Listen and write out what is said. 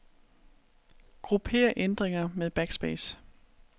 Grupper ændringer med backspace.